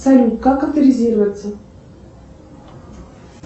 салют как авторизироваться